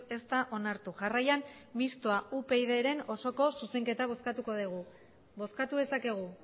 ez da onartu jarraian mistoa upydren osoko zuzenketa bozkatuko dugu bozkatu dezakegu